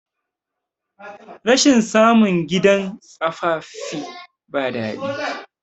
rashin samun gidan tsafaffi ba dadi